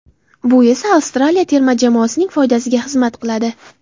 Bu esa Avstraliya terma jamoasining foydasiga xizmat qiladi.